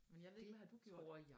Men jeg ved ikke hvad har du gjort?